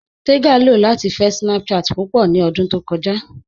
Tẹ́gà lọ latí fẹ̀ Snapchat púpọ̀ ní òdún tó kọja.